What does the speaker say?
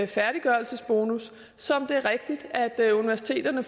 færdiggørelsesbonus som det er rigtigt universiteterne